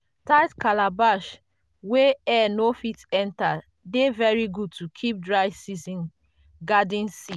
tight calabash wey air no fit enter dey very good to keep dry season garden seed.